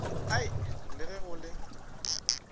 ai le ge go le